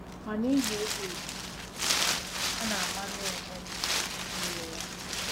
Ma n'ihi ịgba izu, a na-amanye onwe m na ime ihe.